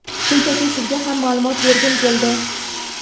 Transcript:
Shunchaki sizga ham maʼlumot bergim keldi.